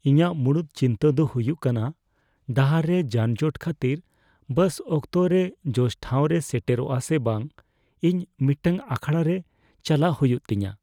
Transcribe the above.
ᱤᱧᱟᱹᱜ ᱢᱩᱲᱩᱫ ᱪᱤᱱᱛᱟᱹ ᱫᱚ ᱦᱩᱭᱩᱜ ᱠᱟᱱᱟ ᱰᱟᱦᱟᱨ ᱨᱮ ᱡᱟᱱᱡᱚᱴ ᱠᱷᱟᱹᱛᱤᱨ ᱵᱟᱥ ᱚᱠᱛᱚᱨᱮ ᱡᱚᱥᱴᱷᱟᱶ ᱨᱮᱭ ᱥᱮᱴᱮᱨᱟ ᱥᱮ ᱵᱟᱝ ᱾ ᱤᱧ ᱢᱤᱫᱴᱟᱝ ᱟᱠᱷᱲᱟᱨᱮ ᱪᱟᱞᱟᱜ ᱦᱩᱭᱩᱜ ᱛᱤᱧᱟᱹ ᱾